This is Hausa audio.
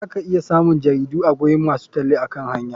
Za ka iya samun jaridu a gurin masu talle akan hanya.